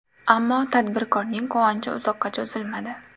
Ammo tadbirkorning quvonchi uzoqqa cho‘zilmadi.